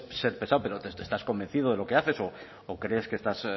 se puede ser pesado pero estás convencido de lo que haces o crees que estás